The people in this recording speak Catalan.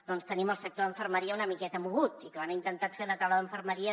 doncs tenim el sector de infermeria una miqueta mogut i que han intentat fer la taula d’infermeria